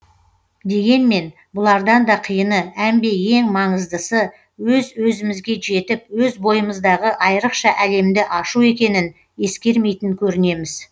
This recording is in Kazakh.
дегенмен бұлардан да қиыны әмбе ең маңыздысы өз өзімізге жетіп өз бойымыздағы айрықша әлемді ашу екенін ескермейтін көрінеміз